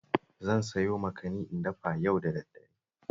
Zan sayo makani in dafa yau da daddare